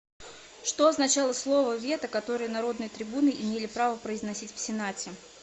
что означало слово вето которое народные трибуны имели право произносить в сенате